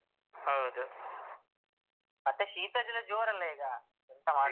ಹೌದು ಮತ್ತೆ ಶೀತ ಜ್ವರ ಜೋರಲ್ಲ ಈಗ ಎಂತ ಮಾಡುದು.